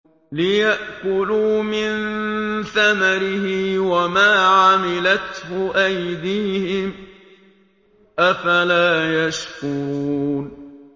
لِيَأْكُلُوا مِن ثَمَرِهِ وَمَا عَمِلَتْهُ أَيْدِيهِمْ ۖ أَفَلَا يَشْكُرُونَ